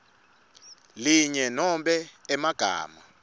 linye nobe emagama